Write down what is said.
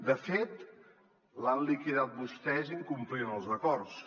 de fet l’han liquidat vostès incomplint els acords